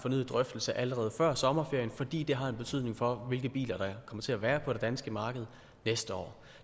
fornyet drøftelse allerede før sommerferien fordi det har en betydning for hvilke biler der kommer til at være på det danske marked næste år